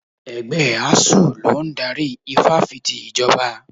Ẹgbẹ́ Asuu ló ń darí Ifáfìti Ìjọba.